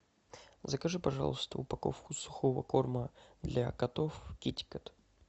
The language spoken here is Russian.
закажи пожалуйста упаковку сухого корма для котов китикет